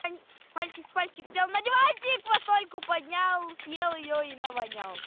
мальчик с пальчик сел на диванчик вот стойку поднял съел её и навонял